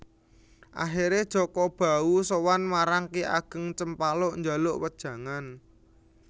Akhire Jaka Bahu sowan marang Ki Ageng Cempaluk njaluk wejangan